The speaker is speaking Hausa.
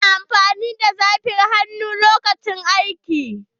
Ya na amfani da saffar hannu lokacin aiki.